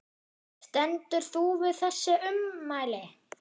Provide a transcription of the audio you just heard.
Stendur þú við þessi ummæli?